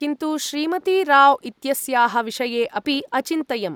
किन्तु श्रीमती राव् इत्यस्याः विषये अपि अचिन्तयम्।